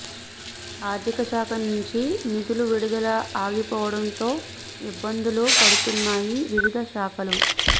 ఆర్థికశాఖ నుంచి నిధులు విడుదల ఆగిపోవడంతో ఇబ్బందులు పడుతున్నాయి వివిధ శాఖలు